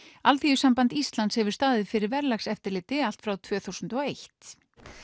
Alþýðusamband Íslands hefur staðið fyrir verðlagseftirliti allt frá tvö þúsund og eitt